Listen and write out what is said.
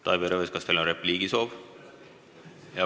Taavi Rõivas, kas teil on repliigisoov?